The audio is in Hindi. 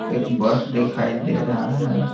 एक बस दिखाई दे रहा है।